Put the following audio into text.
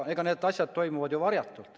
Need asjad toimuvad ju varjatult.